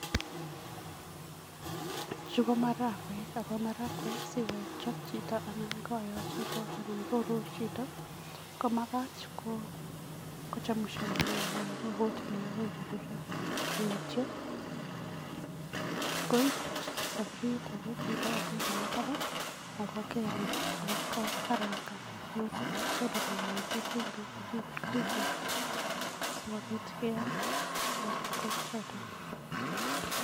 Chu ko marakwek, ako marakwek sikochop anan koyo chito anan koruur chito komakat kochemushan anan kokuut inee akoi koruruyo anityo koiip sapuriet ake chito ako ndena taban ako keel ine ako karangan, noto kondena mwaita, chumbik ak ingredients alak sikopit keam marakwek choto.